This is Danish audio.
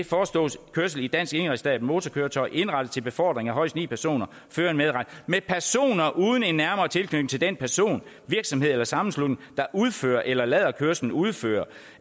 forstås kørsel i dansk indregistreret motorkøretøj indrettet til befordring af højst ni personer føreren medregnet med personer uden en nærmere tilknytning til den person virksomhed eller sammenslutning der udfører eller lader kørslen udføre